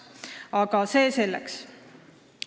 Aga see selleks.